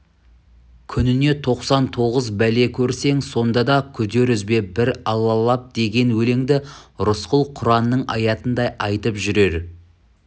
күніне тоқсан тоғыз бәле көрсең сонда да күдер үзбе бір аллалап деген өлеңді рысқұл құранның аятындай айтып жүрер